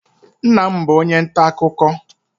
Nna m bụ onye nta akụkọ.